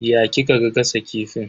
Ya kika gasa kifin?